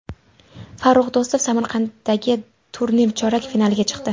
Farrux Do‘stov Samarqanddagi turnir chorak finaliga chiqdi.